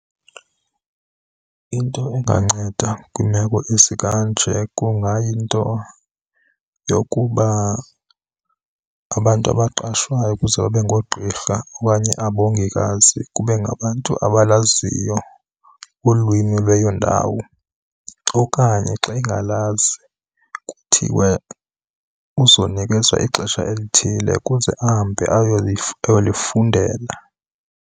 Into enganceda kwiimeko ezikanje kungayinto yokuba abantu abaqashwayo ukuze babe ngoogqirha okanye abongikazi kube ngabantu abalaziyo ulwimi lweyo ndawo. Okanye xa engalazi kuthiwe uzonikezwa ixesha elithile ukuze ahambe ayolifundela.